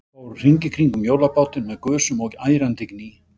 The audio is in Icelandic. Fór hring í kringum hjólabátinn með gusum og ærandi gný.